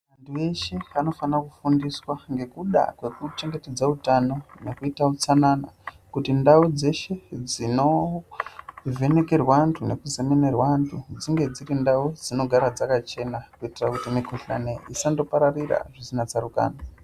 Vantu veshe vanofanira kufundiswa nekuda kwekuchengetedza utano ngekuda kwekuita utsanana kuti ndau dzeshe dzinovhenekerwa vantu nekuzemenerwa vantu dzinge dziri ndau dzinogara dzakachena kuitira kuti mukuhlani isandopararira zvisina tsarukano.